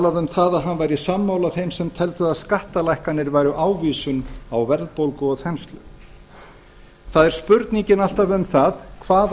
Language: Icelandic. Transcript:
það að hann væri sammála þeim sem teldu að skattalækkanir væru ávísun á verðbólgu og þenslu það er spurningin alltaf um það hvaða